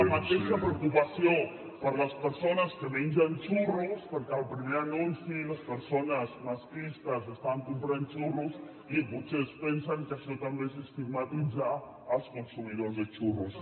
la mateixa preocupació per les persones que mengen xurros perquè al primer anunci les persones masclistes estan comprant xurros i potser es pensen que això també és estigmatitzar els consumidors de xurros